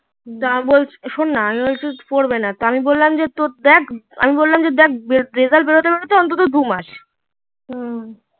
তখন বলছে শোননা আমি বলছি পড়বেনা আমি তা বললাম যে তো দেখ আমি বললাম যে দেখ রেজাল্ট বেরোতে বেরোতে এখনো দুমাস